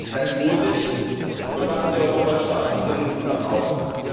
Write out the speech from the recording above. Seien Sie mutig, und machen Sie Europa stark nach innen und nach außen!